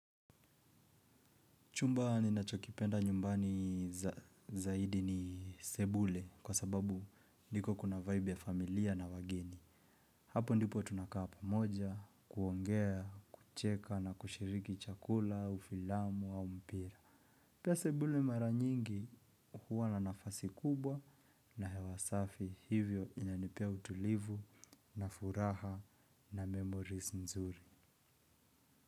Chumba ninachokipenda nyumbani zaidi ni sebule kwa sababu ndiko kuna vibe ya familia na wageni. Hapo ndipo tunakaa pamoja, kuongea, kucheka na kushiriki chakula, au filamu au mpira. Pia sebule mara nyingi huwa na nafasi kubwa na hewa safi hivyo inanipea utulivu na furaha na memories nzuri.